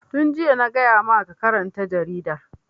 Tun jiya na gaya ma ka karanta jaridar!